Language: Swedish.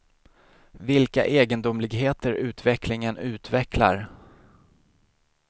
Vilka egendomligheter utvecklingen utvecklar!